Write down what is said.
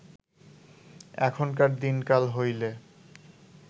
এখনকার দিনকাল হইলে